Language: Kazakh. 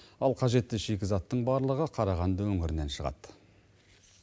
ал қажетті шикізаттың барлығы қарағанды өңірінен шығады